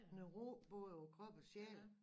Noget ro både på krop og sjæl